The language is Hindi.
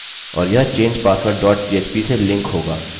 और यह change password dot php से लिंक होगा